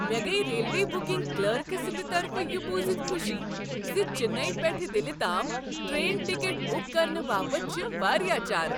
مےٚ گٔیۍ railway booking clerk سٕنٛد طرفہٕ یہ بوزتھ خوشی ز چنئی پیٹھ دلہ تام ٹرین ٹکٹ بک کرنہٕ باپتھ چھ واریاہ چارٕ۔